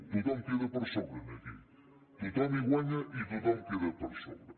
tothom queda per sobre aquí tothom hi guanya i tothom queda per sobre